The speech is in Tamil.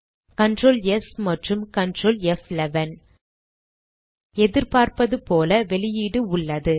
Ctrl ஸ் மற்றும் Ctrl ப்11 எதிர்பார்த்தது போல வெளியீடு உள்ளது